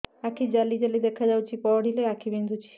ଆଖି ଜାଲି ଜାଲି ଦେଖାଯାଉଛି ପଢିଲେ ଆଖି ବିନ୍ଧୁଛି